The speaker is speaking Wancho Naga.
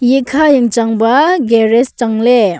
iyakha yang chang ba garage changley.